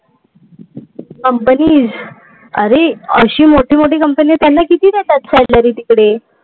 Companies. अरे अशा मोठ्या मोठ्या companies त्यांना किती देतात salary तिकडे.